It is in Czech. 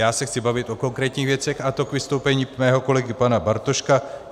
Já se chci bavit o konkrétních věcech, a to k vystoupení mého kolegy pana Bartoška.